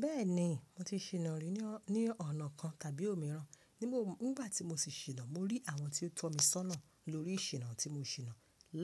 Bẹ́ẹ̀ni mo ti ṣìnà rí ní ọ̀nà kan tàbí òmíràn. Nígbà tí mo sì ṣìnà, mo rí àwọn tí ó tọ́ mi sọ́nà lórí ìṣìnà tí mo ṣìnà.